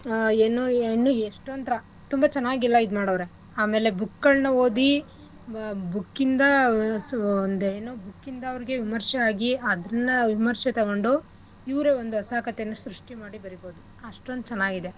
ಆಹ್ ಏನು ಇನ್ನೂ ಎಷ್ಟೋಂದ್ಥರಾ ತುಂಬಾ ಚೆನ್ನಾಗ್ ಎಲ್ಲಾ ಇದ್ಮಾಡೌರೆ ಆಮೇಲೆ book ಗಳ್ನ ಓದಿ book ಯಿಂದ ಆಹ್ ಸು~ ವ್~ ಒಂದ್ ಏನೂ book ಯಿಂದ ಅವ್ರ್ಗೆ ವಿಮರ್ಶೆ ಆಗೀ ಅದನ್ನ ವಿಮರ್ಶೆ ತೊಗೊಂಡು ಇವ್ರೆ ಒಂದು ಹೊಸಾ ಕಥೆನ ಸೃಷ್ಟಿ ಮಾಡಿ ಬರಿಬೋದು ಅಷ್ಟೊಂದ್ ಚೆನ್ನಾಗಿದೆ.